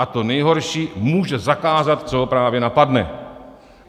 A to nejhorší - může zakázat, co ho právě napadne.